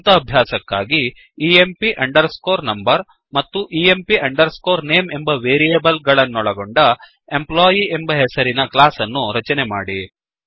ಸ್ವಂತ ಅಭ್ಯಾಸಕ್ಕಾಗಿ emp under ಸ್ಕೋರ್number ಮತ್ತು empಅಂಡರ್ ಸ್ಕೋರ್name ಎಂಬ ವೇರಿಯೇಬಲ್ ಗಳನ್ನೊಳಗೊಂಡ ಎಂಪ್ಲಾಯಿ ಎಂಬ ಹೆಸರಿನ ಕ್ಲಾಸ್ ಅನ್ನು ರಚನೆ ಮಾಡಿ